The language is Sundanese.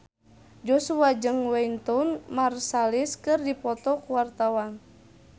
Joshua jeung Wynton Marsalis keur dipoto ku wartawan